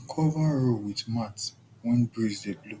cover row with mat when breeze dey blow